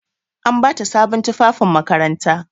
An ba ta sabon tufafin makaranta.